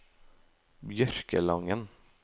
Bjørkelangen